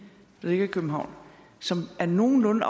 der ligger i københavn som er nogenlunde